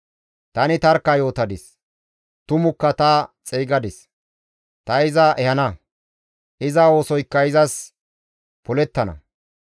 Tani tarkka yootadis; tumukka ta xeygadis; ta iza ehana; iza oosoykka izas polettana.